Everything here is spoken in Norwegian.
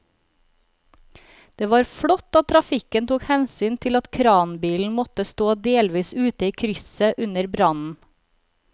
Det var flott at trafikken tok hensyn til at kranbilen måtte stå delvis ute i krysset under brannen.